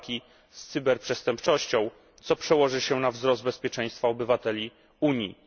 Walki z Cyberprzestępczością, co przełoży się na wzrost bezpieczeństwa obywateli Unii.